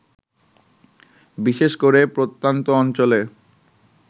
বিশেষ করে প্রত্যন্ত অঞ্চলে